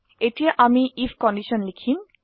এতিয়া আমি I F condition লিখিম